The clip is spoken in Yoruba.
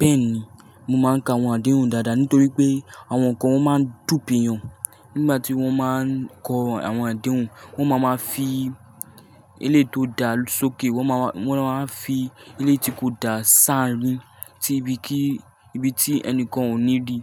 Bẹ́ẹ̀ni, mo máa ń ka àwọn àdéhùn dáadáa nítorí pé àwọn kan wọn máa ń dùpe iyàn nígbà tí wọ́n máa ń kọ àwọn àdéhùn, wọ́n máa máa fi ilé tó da sókè, wọ́n máa, wọ́n máa ń fi ilé tí kò da san-an rin tí ibi kí, ibi tí ẹnìkan ò ní rí